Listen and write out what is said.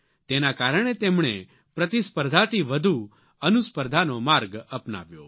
તેના કારણે તેમણે પ્રતિસ્પર્ધાથી વધુ અનુસ્પર્ધાનો માર્ગ અપનાવ્યો